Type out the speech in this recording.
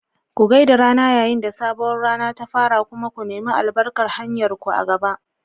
Ku gai da rana yayin da sabuwar rana ta fara kuma ku nemi albarkar hanyarku a gaba.